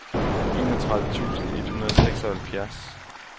enogtredive tusind et hundrede og seksoghalvfjerds